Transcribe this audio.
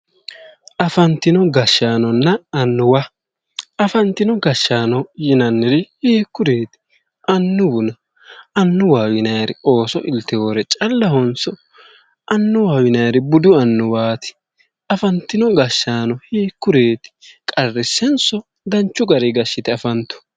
Afanntino gashshaanonna annuwa afantino gashshaano yinanniri hiikkuriiti annuwuna ?annuwaho yinayri ooso ilteewore calluwahonso annuwaho yinayri budu annuwaati afantino gashshaano yinanniri qarrissenso danchu garinni gashshite afantanno?